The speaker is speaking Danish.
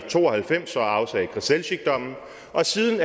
to og halvfems og afsagde grzelczykdommen og siden